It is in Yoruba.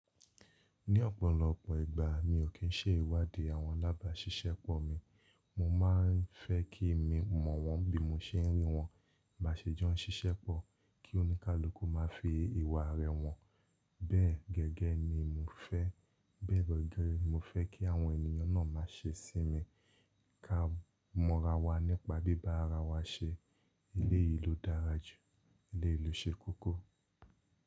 Ní ọ̀pọ̀lọpọ̀ ìgbà mi ò kí ń ṣe ìwádìí àwọn alábà Ṣisẹ́pọ̀ mi, mo ma ń fẹ́ kí mi mọ̀ wọ́n bí mo ṣe ń rí wọn, baá ṣe jọ Ṣisẹ́pọ̀ kí oníkálukú má fi ìwà rẹ̀ hàn, bẹ́ẹ̀ gẹ́gẹ́ ni mo fẹ́, bẹ́ẹ̀ gẹ́gẹ́ ni mo fẹ́ kí àwọn ènìyàn náà má se sí mi. Ka mọ̀ra wa nípa bíbá ara wa se, eleyìí ló dára jù, eleyìí ló ṣe kókó.